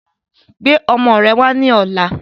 Gbé ọmọ rẹ wà ní ọ̀la!